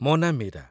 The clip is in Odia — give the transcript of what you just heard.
ମୋ ନାଁ ମୀରା